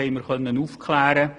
Das konnten wir aufklären.